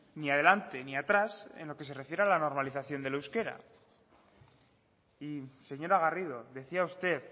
ni adelante ni atrás en lo que se refiere a la normalización del euskera y señora garrido decía usted